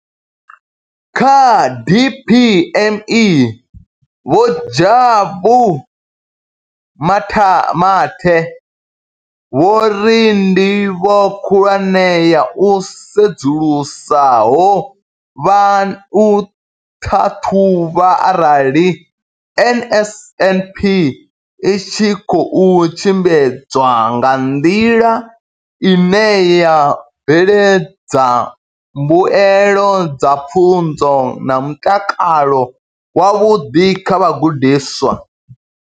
Kha DPME, Vho Jabu Mathe, vho ri ndivho khulwane ya u sedzulusa ho vha u ṱhaṱhuvha arali NSNP i tshi khou tshimbidzwa nga nḓila ine ya bveledza mbuelo dza pfunzo na mutakalo wavhuḓi kha vhagudiswa.